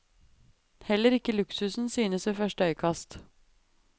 Heller ikke luksusen synes ved første øyekast.